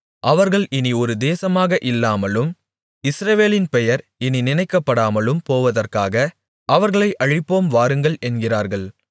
அவர்கள் இனி ஒரு தேசமாக இல்லாமலும் இஸ்ரவேலின் பெயர் இனி நினைக்கப்படாமலும் போவதற்காக அவர்களை அழிப்போம் வாருங்கள் என்கிறார்கள்